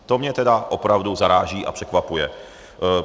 To mě teda opravdu zaráží a překvapuje.